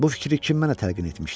Bu fikri kim mənə təlqin etmişdi?